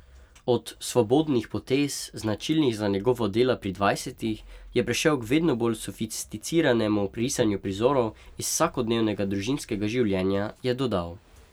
Od svobodnih potez, značilnih za njegova dela pri dvajsetih, je prešel k vedno bolj sofisticiranemu risanju prizorov iz vsakodnevnega družinskega življenja, je dodal.